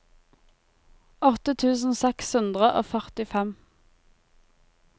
åtte tusen seks hundre og førtifem